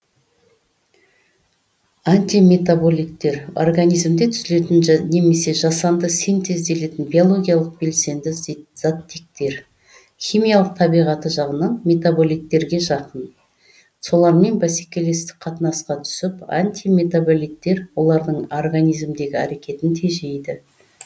антиметаболиттер организмде түзілетін немесе жасанды синтезделетін биологиялық белсенді заттектер химиялық табиғаты жағынан метаболиттерге жақын солармен бәсекелестік қатынасқа түсіп антиметаболиттер олардың организмдегі әрекетін тежейді